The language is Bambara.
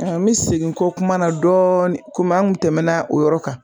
an bɛ segin n kɔ kuma na dɔɔni komi an kun tɛmɛna o yɔrɔ kan